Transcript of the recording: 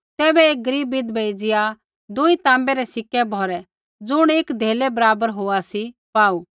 तैबै एक गरीब विधवै एज़िया दूई ताँबै रै सिक्के दुई ढैबुऐ भौरै ज़ुण एक धेले बराबर होआ सी पाऊ